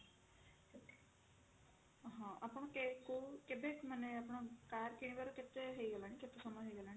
ହଁ ଆପଣ କେ କୋଉ କେବେ ମାନେ ଆପଣ car କିଣିବାର କେତେ ହେଇଗଲାଣି କେତେ ସମୟ ହେଇଗଲାଣି